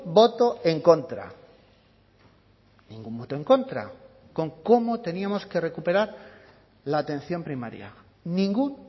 voto en contra ningún voto en contra con cómo teníamos que recuperar la atención primaria ningún